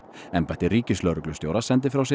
embætti ríkislögreglustjóra sendi frá sér